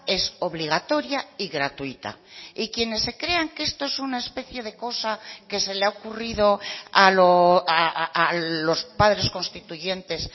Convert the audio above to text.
es obligatoria y gratuita y quienes se crean que esto es una especie de cosa que se le ha ocurrido a los padres constituyentes